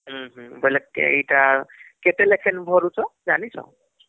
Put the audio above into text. ବୋଇଲେ କେଇଟା କେତେ ଲେଖାଏଁ ଭରୁଛ ଯାନିଛ